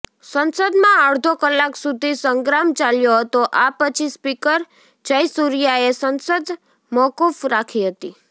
સંસદમાં અડધો કલાક સુધી સંગ્રામ ચાલ્યો હતો આ પછી સ્પીકર જયસૂર્યાએ સંસદ મોકૂફ રાખી હતી